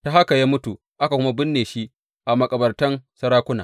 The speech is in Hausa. Ta haka ya mutu aka kuma binne shi makabartan sarakuna.